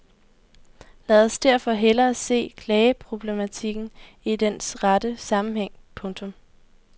Lad os derfor hellere se klageproblematikken i dens rette sammenhæng. punktum